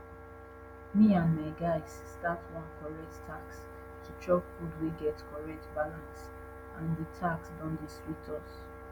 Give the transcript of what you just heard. me and my guys start one correct task to chop food wey get correct balance and de task don dey sweet us